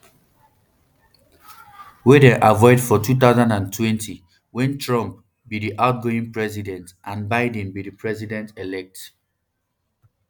wey dem avoid for two thousand and twenty wen trump um be di outgoing president and biden be di presidentelect